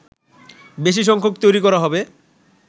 বেশি সংখ্যক তৈরি করা হবে